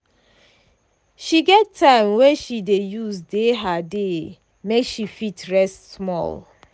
she get time wey she dey use dey her dey make she fit rest small.